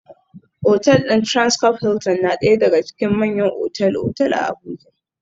Otal din Transcorp Hilton na daya daga cikin manyan otal-otal a Abuja